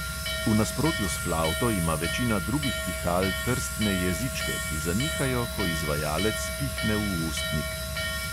V nasprotju s flavto ima večina drugih pihal trstne jezičke, ki zanihajo, ko izvajalec pihne v ustnik.